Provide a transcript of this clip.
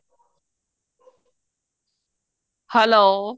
hello